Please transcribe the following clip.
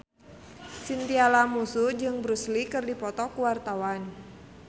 Chintya Lamusu jeung Bruce Lee keur dipoto ku wartawan